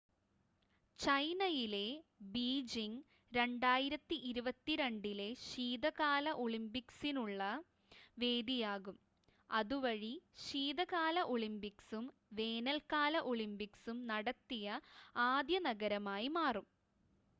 ചൈനയിലെ ബീജിംഗ് 2022 ലെ ശീതകാല ഒളിമ്പിക്സ്സിസിനുള്ള വേദിയാകും അതുവഴി ശീതകാല ഒളിമ്പിക്സും വേനൽക്കാല ഒളിമ്പിക്സും നടത്തിയ ആദ്യ നഗരമായി മാറും